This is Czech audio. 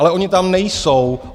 Ale ony tam nejsou.